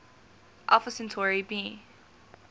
alpha centauri b